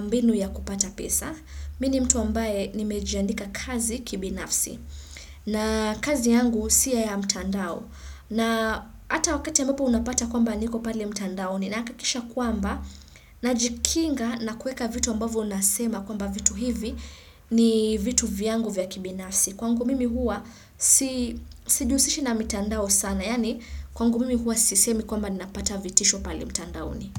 mbinu ya kupata pesa. Mimi ni mtu ambaye nimejiandika kazi kibinafsi. Na kazi yangu si ya mtandao. Na hata wakati ambapo unapata kwamba niko pale mtandaoni nahakikisha kwamba najikinga na kueka vitu ambavo nasema kwamba vitu hivi ni vitu vyangu vya kibinafsi. Kwangu mimi huwa, sijihusishi na mitandao sana. Yaani, kwangu mimi huwa sisemi kwamba ninapata vitisho pale mtandaoni.